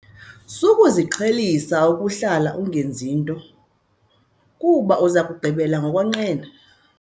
Sukuziqhelisa ukuhlala ungenzi nto kuba uza kugqibela ngokonqena.